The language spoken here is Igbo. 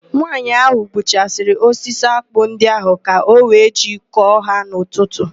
Nwaanyị ahụ gbuchasịrị osisi ákpụ́ ndị ahụ ka ọ wee jee kọọ ha n'ụtụtụ.